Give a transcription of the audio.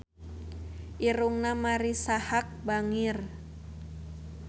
Irungna Marisa Haque bangir